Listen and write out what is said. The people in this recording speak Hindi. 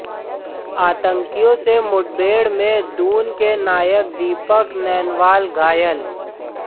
आतंकियों से मुठभेड़ में दून के नायक दीपक नैनवाल घायल